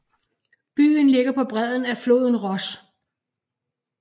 Byen ligger på bredden af floden Ros